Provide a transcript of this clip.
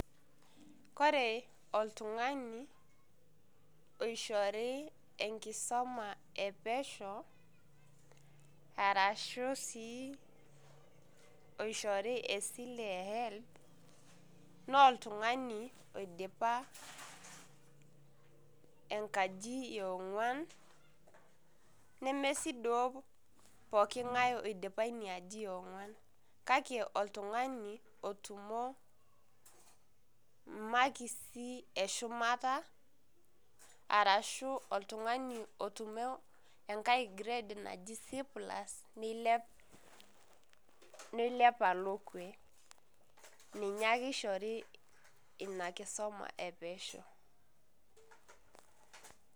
Kore oltung'ani oishori enkisoma epesho, arashu si esile e Helb, noltung'ani oidipa enkaji e ong'uan, nemesi duo pooking'ae oidipa ina aji e ong'uan, kake oltung'ani otumo makisi eshumata, arashu oltung'ani otumo enkae grade naji C plus nilep, nilep alo kue. Ninye ake ishori ina kisoma epesho.